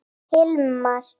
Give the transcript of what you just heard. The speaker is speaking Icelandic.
Elsku Hilmar.